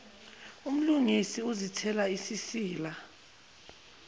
umlungisi uzithela isisila